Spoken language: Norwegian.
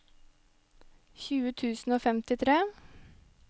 tjue tusen og femtitre